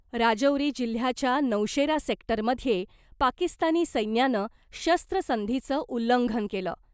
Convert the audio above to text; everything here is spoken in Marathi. राजौरी जिल्ह्याच्या नौशेरा सेक्टरमध्ये पाकिस्तानी सैन्यानं शस्त्रसंधीचं उल्लंघन केलं .